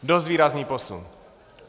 Dost výrazný posun!